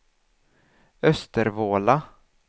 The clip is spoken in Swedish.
Östervåla